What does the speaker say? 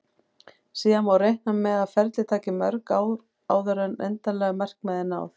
Síðan má reikna með að ferlið taki mörg ár áður en endanlegu markmiði er náð.